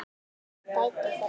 Dætur þeirra